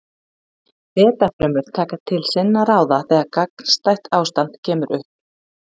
Beta-frumur taka til sinna ráða þegar gagnstætt ástand kemur upp.